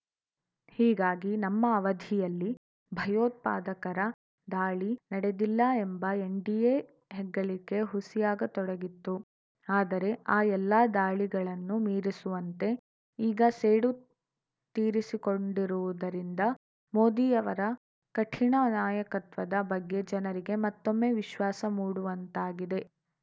ಹೀಗಾಗಿ ನಮ್ಮ ಅವಧಿಯಲ್ಲಿ ಭಯೋತ್ಪಾದಕರ ದಾಳಿ ನಡೆದಿಲ್ಲ ಎಂಬ ಎನ್‌ಡಿಎ ಹೆಗ್ಗಳಿಕೆ ಹುಸಿಯಾಗತೊಡಗಿತ್ತು ಆದರೆ ಆ ಎಲ್ಲ ದಾಳಿಗಳನ್ನೂ ಮೀರಿಸುವಂತೆ ಈಗ ಸೇಡು ತೀರಿಸಿಕೊಂಡಿರುವುದರಿಂದ ಮೋದಿಯವರ ಕಠಿಣ ನಾಯಕತ್ವದ ಬಗ್ಗೆ ಜನರಿಗೆ ಮತ್ತೊಮ್ಮೆ ವಿಶ್ವಾಸ ಮೂಡುವಂತಾಗಿದೆ